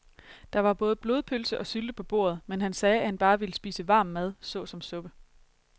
Der var både blodpølse og sylte på bordet, men han sagde, at han bare ville spise varm mad såsom suppe.